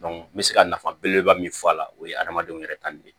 n bɛ se ka nafa beleba min fɔ a la o ye adamadenw yɛrɛ tali de ye